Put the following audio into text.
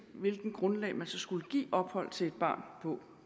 hvilket grundlag man så skulle give ophold til et barn